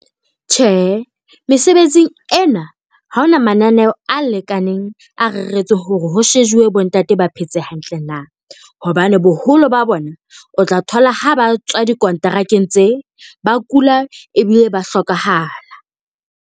Tjhe, mesebetsing ena ha ona mananeo a lekaneng a re retswe hore ho shejuwe bo ntate ba phetse hantle na, hobane boholo ba bona o tla thola ha ba tswa dikonterakeng tse ba kula ebile ba hlokahala.